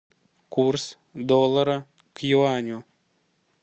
курс доллара к юаню